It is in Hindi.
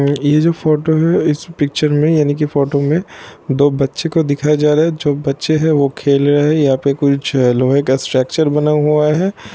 यह जो फोटो है इस पिक्चर में यानि की फोटो में दो बच्चे को दिखाया जा रहा है| जो बच्चे है जो खेल रहे है| यहाँ पे जो लोहे का स्ट्रक्चर बनाया हुआ है।